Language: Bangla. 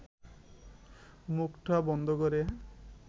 মুখটা বন্ধ করে